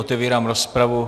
Otevírám rozpravu.